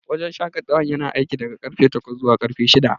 Wajen shaƙatawar yana aiki daga karfe takwas zuwa karfe shida.